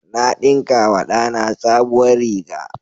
Na ɗinkawa da na sabuwar riga.